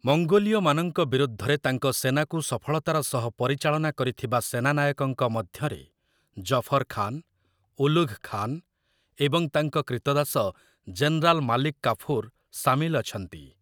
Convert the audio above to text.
ମଙ୍ଗୋଲୀୟମାନଙ୍କ ବିରୁଦ୍ଧରେ ତାଙ୍କ ସେନାକୁ ସଫଳତାର ସହ ପରିଚାଳନା କରିଥିବା ସେନାନାୟକଙ୍କ ମଧ୍ୟରେ ଜଫର୍ ଖାନ୍, ଉଲୁଘ୍ ଖାନ୍ ଏବଂ ତାଙ୍କ କ୍ରୀତଦାସ ଜେନେରାଲ ମାଲିକ୍ କାଫୁର୍ ସାମିଲ ଅଛନ୍ତି ।